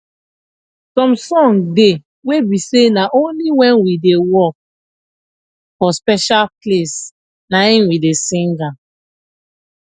some song de wey be say na only when we da work for special place naim we da sing am